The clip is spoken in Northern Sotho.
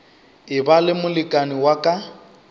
eba le molekane wa ka